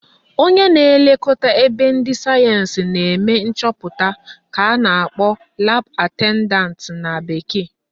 Onye na-elekọta ebe ndị sayensị na-eme nchọpụta ka a na-akpọ Lab attendant na bekee